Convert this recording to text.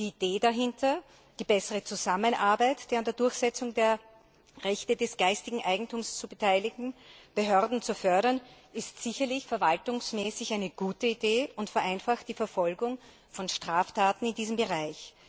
Die dahinter stehende Idee, nämlich die bessere Zusammenarbeit der an der Durchsetzung der Rechte des geistigen Eigentums beteiligten Behörden zu fördern, ist sicherlich verwaltungsmäßig eine gute Idee und vereinfacht die Verfolgung von Straftaten in diesem Bereich.